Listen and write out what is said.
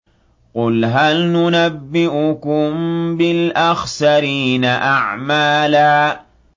قُلْ هَلْ نُنَبِّئُكُم بِالْأَخْسَرِينَ أَعْمَالًا